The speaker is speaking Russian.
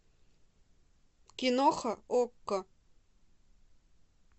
киноха окко